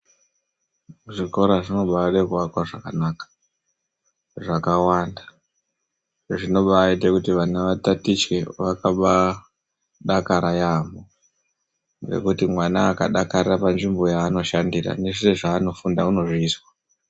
Zvikora zvinobada kuvakwa zvakanaka zvakawanda zvinoba ita kuti vana vatatiche vakaba dakara yambo ngekuti mwana akadakara panzvimbo yanoshandira ngezviro zvanofunda anozvizwa.